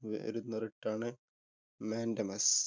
വരുന്ന writ ആണ് Mandamus.